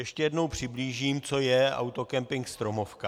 Ještě jednou přiblížím, co je autokempink Stromovka.